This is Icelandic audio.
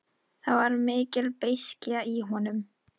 Það var mikil beiskja í honum.